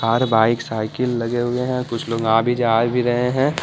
हर bike cycle रहे हुए हैं कुछ लोग आ भी जा भी रहे हैं।